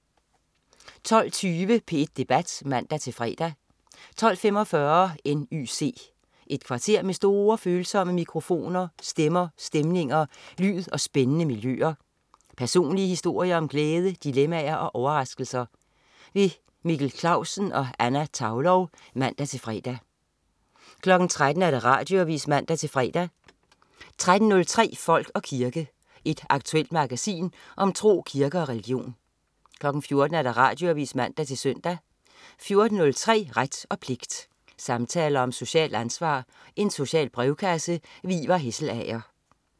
12.20 P1 Debat (man-fre) 12.45 N.Y.C. Et kvarter med store ører, følsomme mikrofoner, stemmer, stemninger, lyd og spændende miljøer. Personlige historier om glæde, dilemmaer og overraskelser. Mikkel Clausen og Anna Thaulow (man-fre) 13.00 Radioavis (man-fre) 13.03 Folk og kirke. Et aktuelt magasin om tro, kirke og religion 14.00 Radioavis (man-søn) 14.03 Ret og pligt. Samtaler om socialt ansvar. Social brevkasse. Ivar Hesselager